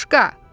Qoşqa!